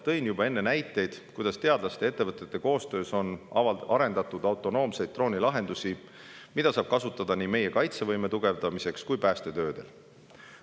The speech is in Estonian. Tõin juba enne näiteid, kuidas teadlaste ja ettevõtete koostöös on arendatud autonoomseid droonilahendusi, mida saab kasutada nii meie kaitsevõime tugevdamiseks kui ka päästetöödel.